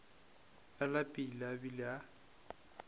a lapile a bile a